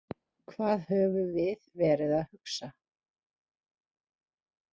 Hvað höfum við verið að hugsa?